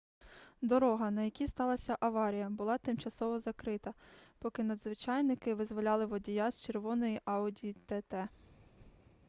дорога на якій сталася аварія була тимчасово закрита поки надзвичайники визволяли водія з червоної audi тт